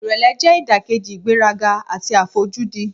Ìrẹ̀lẹ̀ jẹ́ ìdàkejì ìgbéraga àti àfojúdi.